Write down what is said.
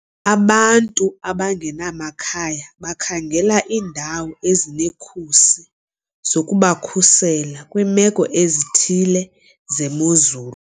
Abantu abangenamakhaya bakhangela iindawo ezinekhusi zokubakhusela kwiimeko ezithile zemozulu.